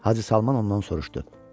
Hacı Salman ondan soruşdu: